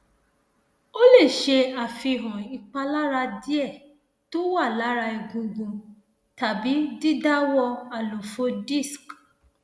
ó lè ṣe àfihàn ìpalára díẹ tó wà lára egungun tàbí dídàwó àlàfo disc